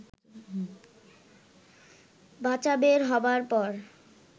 বাচা বের হবার পর